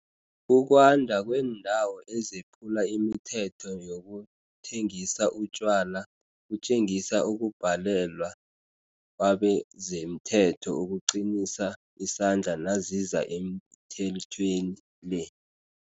Ukwanda kweendawo ezephula imithetho yokuthengisa utjwala, kutjengisa ukubhalwelwa kwabezemthetho ukuqinisa isandla naziza emithethweni le.